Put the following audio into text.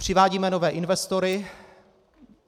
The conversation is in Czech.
Přivádíme nové investory.